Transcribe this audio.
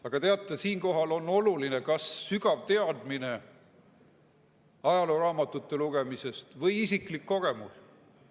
Aga teate, siinkohal on olulised kas sügavad teadmised ajalooraamatute lugemisest või isiklikud kogemused.